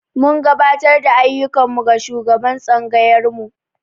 Mun gabatar da ayyukan mu ga shugaban tsangayarmu.